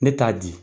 Ne t'a di